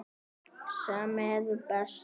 Þau hrökkva við.